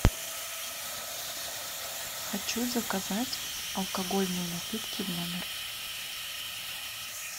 хочу заказать алкогольные напитки в номер